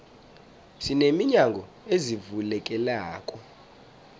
sine minyango ezivulekelako